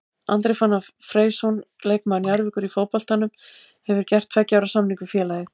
Andri Fannar Freysson leikmaður Njarðvíkur í fótboltanum hefur gert tveggja ára samning við félagið.